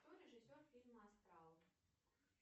кто режиссер фильма астрал